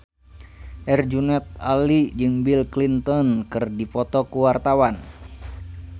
Herjunot Ali jeung Bill Clinton keur dipoto ku wartawan